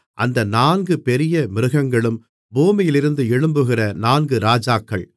அந்த நான்கு பெரிய மிருகங்களும் பூமியிலிருந்து எழும்புகிற நான்கு ராஜாக்கள்